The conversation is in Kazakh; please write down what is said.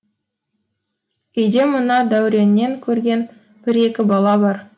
үйде мына дәуреннен көрген бір екі бала бар